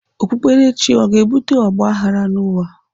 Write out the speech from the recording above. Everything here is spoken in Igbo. Okpukperechi ọ ga-ebute ọgbaghrara n'ụwa?